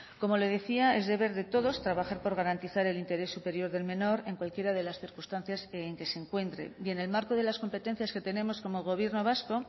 como le decía es deber de todos trabajar por garantizar el interés superior del menor en cualquiera de las circunstancias en que se encuentre y en el marco de las competencias que tenemos como gobierno vasco